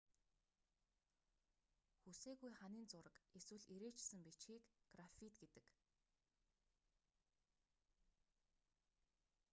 хүсээгүй ханын зураг эсвэл эрээчсэн бичгийг граффит гэдэг